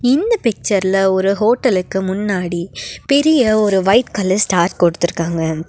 இந்த பிச்சர்ல ஒரு ஹோட்டலுக்கு முன்னாடி பெரிய ஒரு வைட் கலர் ஸ்டார் கொடுத்துருக்காங்க.